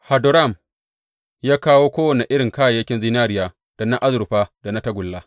Hadoram ya kawo kowane irin kayayyakin zinariya da na azurfa da na tagulla.